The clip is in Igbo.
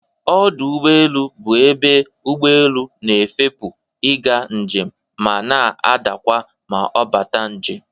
Ọdụ ụgbọelu bụ ebe ụgbọelu na-efepu ị ga njem ma na-adakwa ma ọ bata njem.